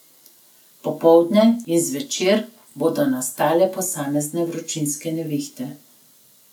Popoldne in zvečer bodo nastale posamezne vročinske nevihte.